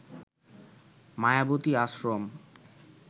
Mayawati Ashram